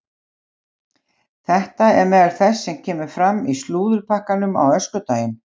Þetta er meðal þess sem kemur fram í slúðurpakkanum á öskudaginn.